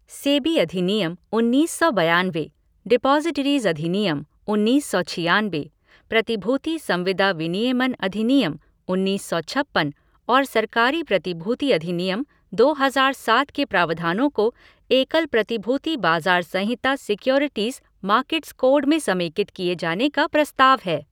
सेबी अधिनियम, उन्नीस सौ बयानवे, डिपाज़िटरीज़ अधिनियम, उन्नीस सौ छियानबे, प्रतिभूति संविदा विनियमन अधिनियम, उन्नीस सौ छप्पन और सरकारी प्रतिभूति अधिनियम, दो हज़ार सात के प्रावधानों को एकल प्रतिभूति बाज़ार संहिता सिक्योरिटीज़ मार्केट्स कोड में समेकित किए जाने का प्रस्ताव है।